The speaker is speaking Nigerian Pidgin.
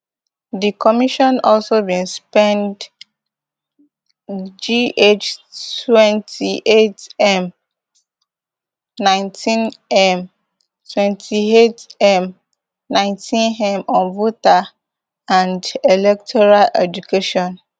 di commission also bin spend gh twenty-eightm nineteenm twenty-eightm nineteenm on voter and electoral education